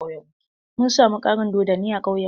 Mun samu ƙarin dodonni a ƙauyan mu.